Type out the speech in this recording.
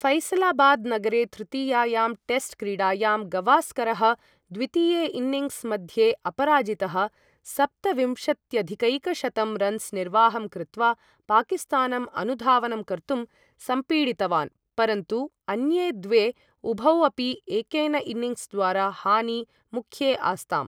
फैसलाबाद् नगरे तृतीयायां टेस्ट् क्री़डायां, गवास्करः द्वितीये इन्निङ्ग्स मध्ये अपराजितः सप्तविम्शत्यधिकैकशतं रन्स् निर्वाहं कृत्वा, पाकिस्तानं अनुधावनं कर्तुं सम्पीडितवान्, परन्तु अन्ये द्वे, उभौ अपि एकेन इन्निङ्ग्स् द्वारा, हानी मुख्ये आस्ताम्।